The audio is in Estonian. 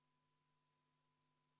Panen hääletusele 30. muudatusettepaneku.